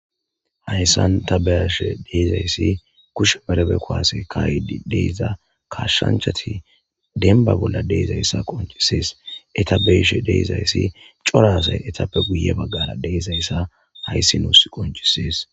Hayssan tabeyashe diizayssi kushe merebe kowase kayidi deeza kashshanchati dembba bolla deezayssa qoncisees. Eta beeshe deezayssi cora asay etappe guye baggara deezayssa hayssi nuus qoncisees.